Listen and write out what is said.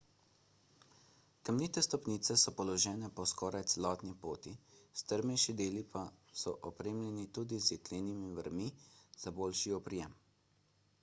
kamnite stopnice so položene po skoraj celotni poti strmejši deli pa so opremljeni tudi z jeklenimi vrvmi za boljši oprijem